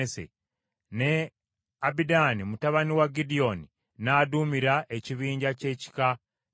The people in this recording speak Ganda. ne Abidaani mutabani wa Gidyoni n’aduumira ekibinja ky’ekika kya Benyamini.